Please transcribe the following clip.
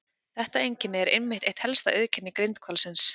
Þetta einkenni er einmitt eitt helsta auðkenni grindhvalsins.